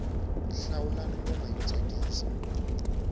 hlawulani nghoma yo tsakisa